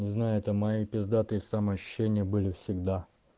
не знаю это мои пиздатые самоощущения были всегда